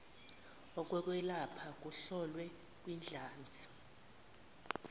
okokwelapha kuhlolwe kwidlanzi